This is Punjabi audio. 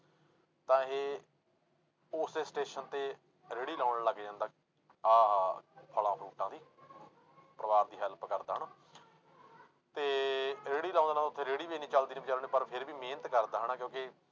ਤਾਂ ਇਹ ਉਸੇ ਸਟੇਸ਼ਨ ਤੇ ਰੇੜੀ ਲਾਉਣ ਲੱਗ ਜਾਂਦਾ ਆਹ ਫਲਾਂ ਫਰੂਟਾਂ ਦੀ ਪਰਿਵਾਰ ਦੀ help ਕਰਦਾ ਹਨਾ ਤੇ ਰੇੜੀ ਤੇ ਰੇੜੀ ਵੀ ਨੀ ਚੱਲਦੀ ਬੇਚਾਰੇ ਨੇ ਪਰ ਫਿਰ ਵੀ ਮਿਹਨਤ ਕਰਦਾ ਹਨਾ ਕਿਉਂਕਿ